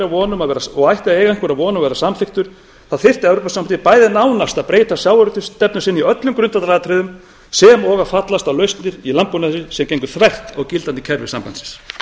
von um að verða samþykktur þyrfti evrópusambandið bæði nánast að breyta sjávarútvegsstefnu sinni í öllum grundvallaratriðum sem og fallast á lausnir í landbúnaði sem gengju þvert á gildandi kerfi sambandsins